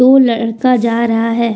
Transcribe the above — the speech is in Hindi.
वो लड़का जा रहा है।